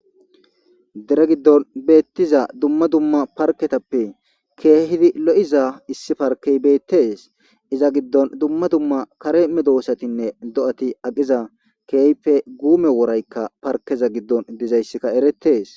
Dere giddon beetiza dumma dumma paretappe issi parkeyi beetesi, iza gidoni dumma dumma kare medosatinne do'ati aqiza keehippe guume worayka parikeza gidon dizayska eretesi.